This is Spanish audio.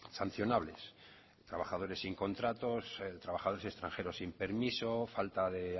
sancionables trabajadores sin contratos trabajadores extranjeros sin permisos falta de